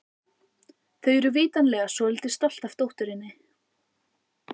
Þau eru vitanlega svolítið stolt af dótturinni.